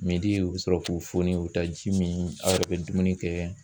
u bɛ sɔrɔ k'u fonin u bɛ taa ji min aw yɛrɛ bɛ dumuni kɛ